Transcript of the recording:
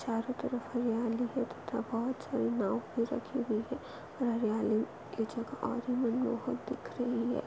चारो तरफ हरियाली है बहुत साड़ी नाव भी रखी हुई है और हरियाली बहुत आज मनमोहक दिख रही है।